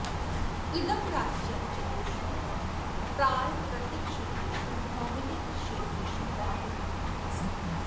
इदं राज्यं चतुर्षु प्रालकृतिकक्षेत्रेषु भौगोलिकक्षेत्रेषु वा विभक्तम् अस्ति